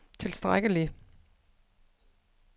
tilstrækkelig